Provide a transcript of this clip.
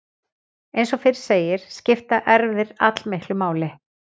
Eins og fyrr segir skipta erfðir allmiklu máli.